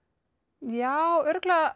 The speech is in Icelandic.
já örugglega